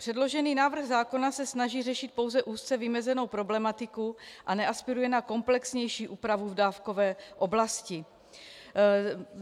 Předložený návrh zákona se snaží řešit pouze úzce vymezenou problematiku a neaspiruje na komplexnější úpravu v dávkové oblasti.